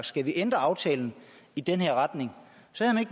skal vi ændre aftalen i den her retning så